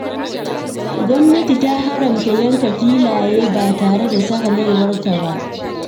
Gwamnati ta haramta yanka filaye ba tare da sahalewarta ba.